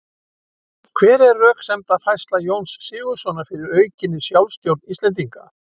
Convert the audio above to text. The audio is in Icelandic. Hver var röksemdafærsla Jóns Sigurðssonar fyrir aukinni sjálfstjórn Íslendinga?